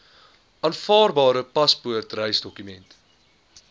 aanvaarbare paspoort reisdokument